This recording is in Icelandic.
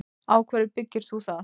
Á hverju byggir þú það?